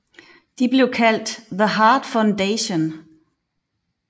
De blev kaldt The Hart Foundation